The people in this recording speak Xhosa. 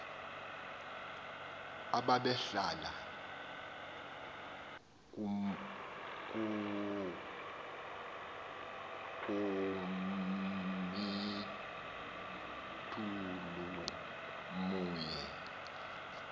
ababehlala komlthulu mhye